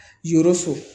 Yɔrɔ so